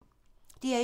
DR1